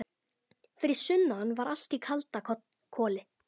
Fyrir sunnan var allt í kalda koli.